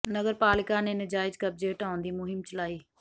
ਨਗਰ ਪਾਲਿਕਾ ਨੇ ਨਾਜਾਇਜ਼ ਕਬਜ਼ੇ ਹਟਾਉਣ ਦੀ ਮੁਹਿੰਮ ਚਲਾਈ